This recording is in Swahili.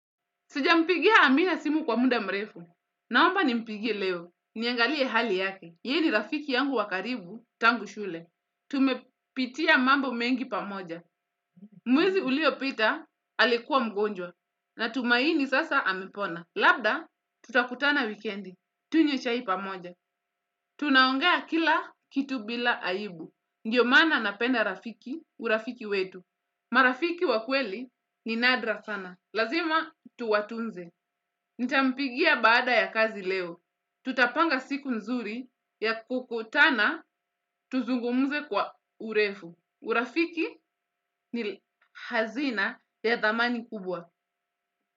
Sijampigia amina simu kwa muda mrefu. Naomba nimpigie leo. Niangalie hali yake. Yeye ni rafiki yangu wa karibu tangu shule. Tumepitia mambo mengi pamoja. Mwezi uliopita alikuwa mgonjwa. Natumaini sasa amepona. Labda tutakutana wikendi. Tunywe chai pamoja. Tunaongea kila kitu bila aibu. Ndio maana napenda rafiki urafiki wetu. Marafiki wakweli ni nadra sana. Lazima tuwatunze. Nitampigia baada ya kazi leo. Tutapanga siku nzuri ya kukutana tuzungumze kwa urefu. Urafiki ni hazina ya thamani kubwa.